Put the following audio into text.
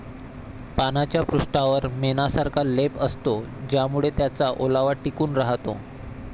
पानाच्या पृष्ठावर मेणासारखा लेप असतो ज्यामुळे त्याचा ओलावा टिकून राहतो.